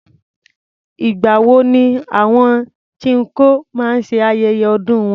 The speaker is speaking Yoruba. Ìgbà wo ni àwọn chinkó maá ṣe ayẹyẹ ọdún wọn?